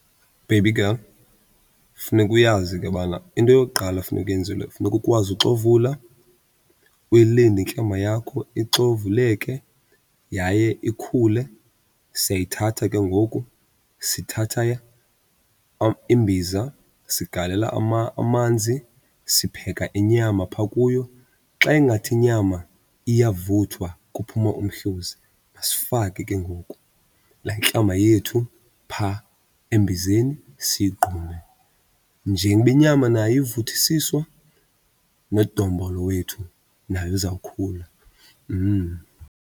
Baby girl, funeka uyazi ke bana into yokuqala efuneke uyenzile funeka ukwazi uxovula, uyilinde intlama yakho ixovuleke yaye ikhule. Siyayithatha ke ngoku sithatha imbiza, sigalela amanzi, sipheka inyama phaa kuyo. Xa ingathi inyama iyavuthwa kuphuma umhluzi, masifake ke ngoku laa ntlama yethu phaa embizeni siyigqume. Njengoba inyama nayo ivuthisisiwa nodombolo wethu naye uzawukhula .